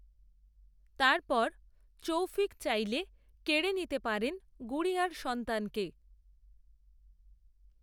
তার পর, তৌফিক চাইলে, কেড়ে নিতে পারেন গুড়িয়ার সন্তানকে